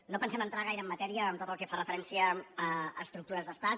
no pensem entrar gaire en matèria en tot el que fa referència a estructures d’estat